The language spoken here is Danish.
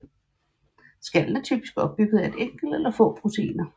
Skallen er typisk opbygget af et enkelt eller få proteiner